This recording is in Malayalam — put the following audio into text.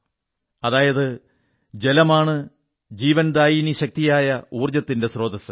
അതായത് ജലമാണ് ജീവൻദായിനി ശക്തിയായ ഊർജ്ജത്തിന്റെ സ്രോതസ്സ്